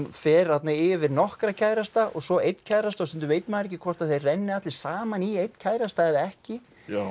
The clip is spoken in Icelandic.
fer þarna yfir nokkra kærasta og svo einn kærasta og stundum veit maður ekki hvort þeir renni allir saman í einn kærasta eða ekki